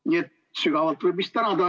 Nii et sügavalt võib vist tänada.